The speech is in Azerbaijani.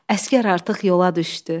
Əsgər artıq yola düşdü.